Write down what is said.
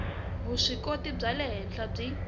vuswikoti bya le henhla byi